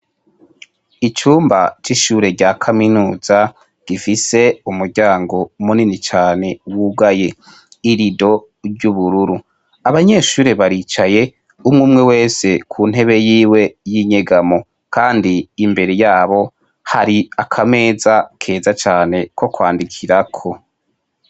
Icumba c'ishure rya Kaminuza, gifise umuryango munini cane wugaye , irido ry'ubururu, abanyeshure baricaye , umwumwe wese kuntebe yiwe yinyegamo ,kandi imbere yabo hari akameza keza cane ko kwandikirako.